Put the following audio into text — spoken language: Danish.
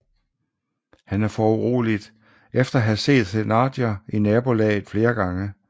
Han er foruroliget efter at have set Thénardier i nabolaget flere gange